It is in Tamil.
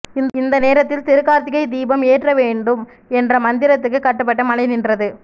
இந்த நேரத்தில் திருக்கார்த்திகை தீபம் ஏற்ற வேண்டும் என்ற மந்திரத்துக்கு கட்டுப்பட்டு மழை நின்றது